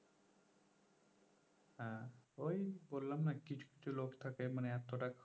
হ্যাঁ ওই বললাম না কিছু কিছু লোক থাকে মানে এতটা